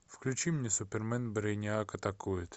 включи мне супермен брэйниак атакует